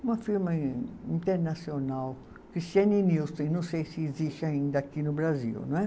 Uma firma in, internacional, não sei se existe ainda aqui no Brasil, não é?